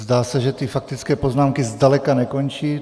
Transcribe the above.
Zdá se, že ty faktické poznámky zdaleka nekončí.